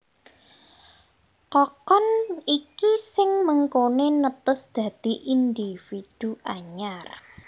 Kokon iki sing mengkoné netes dadi individu anyar